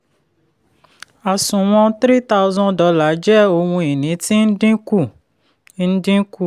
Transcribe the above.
àsùnwọ̀n three thousand dollar jẹ́ ohun ìní tí ń dínkù. ń dínkù.